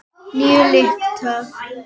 Níu lyklar.